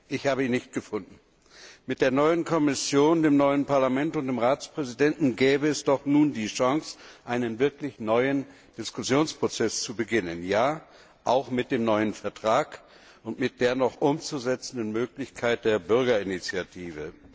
Ich habe ihn nicht gefunden. Mit der neuen Kommission, dem neuen Parlament und dem Ratspräsidenten gäbe es doch nun die Chance, einen wirklich neuen Diskussionsprozess zu beginnen. Ja, auch mit dem neuen Vertrag und mit der noch umzusetzenden Möglichkeit der Bürgerinitiative.